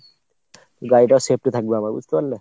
গাড়িটাও safety থাকবে আমার বুঝতে পারলে ?